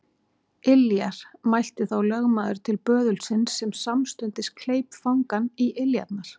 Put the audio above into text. Iljar, mælti þá lögmaður til böðulsins sem samstundis kleip fangann í iljarnar.